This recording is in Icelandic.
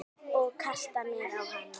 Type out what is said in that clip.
Og kasta mér á hana.